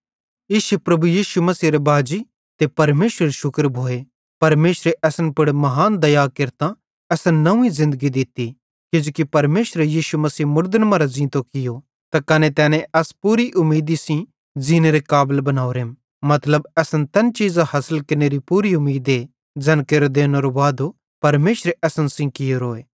इश्शे प्रभु यीशु मसीहेरे बाजी ते परमेशरेरू शुक्र भोए परमेशरे असन पुड़ महान दया केरतां असन नव्वीं ज़िन्दगी दित्ती किजोकि परमेशरे यीशु मसीह मुड़दन मरां ज़ींतो कियो त कने तैने अस पूरी उमीदी सेइं ज़ीनेरे काबल बनोरेम मतलब असन तैन चीज़ां हासिल केरनेरी पूरी उमीदे ज़ैन केरो देनेरो वादो परमेशरे असन सेइं कियोरोए